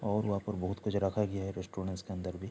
और वहाँ पर बहुत कुछ रखा गया है रेस्टोरेंट्स के अंदर भी |